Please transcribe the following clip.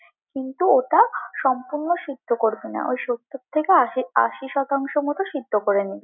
কিন্তু ওটা সম্পূর্ণ সিদ্ধ করবি না, ওই সত্তর থেকে আশি আশি শতাংশ মতো সিদ্ধ করে নিবি।